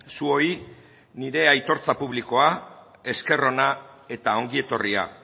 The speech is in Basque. zuoi nire aitortza publikoa esker ona eta ongietorria